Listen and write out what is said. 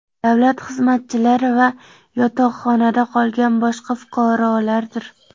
davlat xizmatchilari va yotoqxonada qolgan boshqa fuqarolardir.